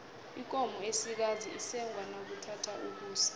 ikomo esikazi isengwa nakuthatha ukusa